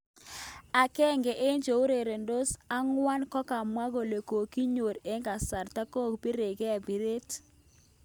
Agenge eng cheureretos akwang kokamwa kole kokichor eng kasarta kokopiren piret